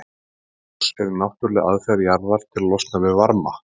Eldgos eru náttúrleg aðferð jarðar til að losna við varma.